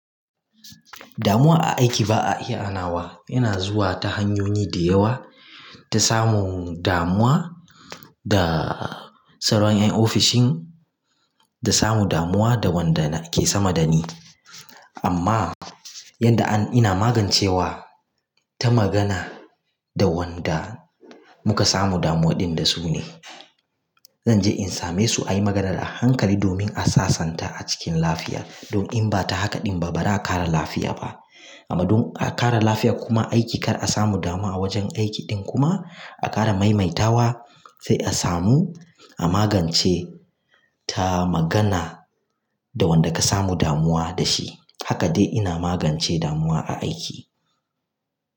Damuwa a aiki ba a iya hanawa. Yana zuwa ta hanyoyi da yawa ta samun damuwa, da salon ƴan ofishin, da samun damuwa da wanda ke sama dani. Amma yanda ina magancewa ta magana da wanda muka samu damuwa ɗin da su ne. Zanje in same su ayi magana da hankali domin a sasanta a cikin lafiya. Dan innba ta hakan ɗin ba, bara a ƙare lafiya ba. Amma dan a ƙare lafiya kuma aiki kar a samu damuwa a wajen aiki ɗin kuma a ƙara maimaitawa sai a samu a magance ta magana da wanda ka samu damuwa da shi. Haka dai ina magance damuwa a aiki.